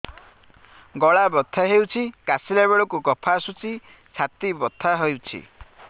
ଗଳା ବଥା ହେଊଛି କାଶିଲା ବେଳକୁ କଫ ଆସୁଛି ଛାତି ବଥା ହେଉଛି